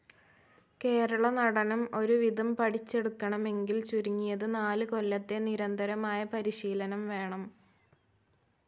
കേരള നടനം ഒരുവിധം പഠിച്ചെടുക്കണമെങ്കിൽ ചുരുങ്ങിയത് നാല് കൊല്ലത്തെ നിരന്തരമായ പരിശീലനം വേണം.